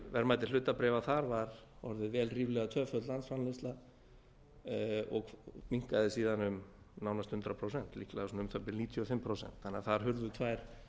verðmæti hlutabréfa þar var orðin vel ríflega tvöföld landsframleiðsla og minnkaði síðan um nánast hundrað prósent líklega svona um það bil níutíu og fimm prósent þannig að þar hurfu tvær